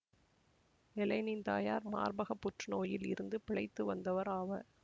எல்லேனின் தாயார் மார்பகப் புற்றுநோயில் இருந்து பிழைத்து வந்தவர் ஆவர்